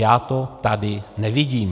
Já to tady nevidím.